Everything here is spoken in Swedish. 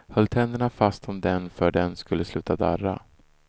Höll tänderna fast om den för den skulle sluta darra.